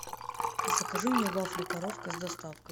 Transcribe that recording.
закажи мне вафли коровка с доставкой